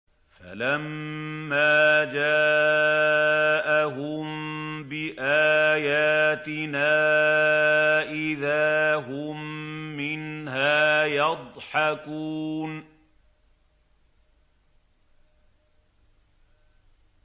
فَلَمَّا جَاءَهُم بِآيَاتِنَا إِذَا هُم مِّنْهَا يَضْحَكُونَ